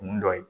Kun dɔ ye